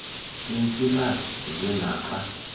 iintsilathi nje naxa